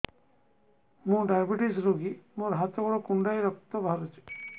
ମୁ ଡାଏବେଟିସ ରୋଗୀ ମୋର ହାତ ଗୋଡ଼ କୁଣ୍ଡାଇ ରକ୍ତ ବାହାରୁଚି